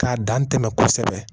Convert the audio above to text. K'a dan tɛmɛ kosɛbɛ